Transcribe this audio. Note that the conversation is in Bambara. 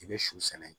I bɛ shɔ sɛnɛ